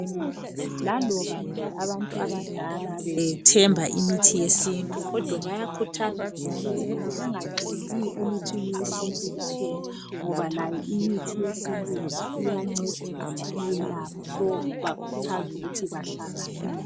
Laloba nje abantu abadala bethemba imithi yesintu bayakhuthazwa ukuthi bengathembeli emithini yesintu kuphela ngoba layo imithi yesilingu iyancedisa iyalapha bayakuthazwa ukuthi bahlanganise